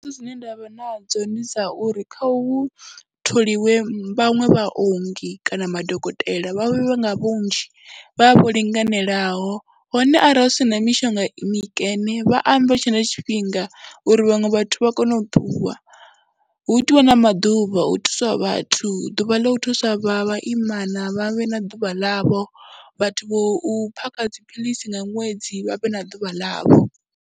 Dzine nda vha nadzo ndi dza uri kha hu tholiwe vhaṅwe vha ongi kana madokotela vha vhe nga vhunzhi, vha vhe vho linganelaho hone arali zwi si na mishonga mikene vha ambe hu tshe na tshifhinga uri vhaṅwe vhathu vha kone u ṱuwa, hu itiwe na maḓuvha a u thusa vhathu, ḓuvha ḽa u thusa vha vhaimana vha vhe na ḓuvha ḽavho, vhathu vho u phakha dziphilisi nga ṅwedzi vha vhe na ḓuvha ḽavho.